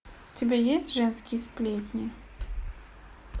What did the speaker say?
у тебя есть женские сплетни